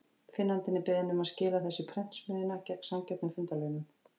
Finnandi er beðinn um að skila þessu í prentsmiðjuna, gegn sanngjörnum fundarlaunum.